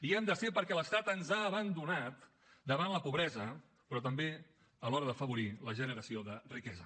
hi hem de ser perquè l’estat ens ha abandonat davant la pobresa però també a l’hora d’afavorir la generació de riquesa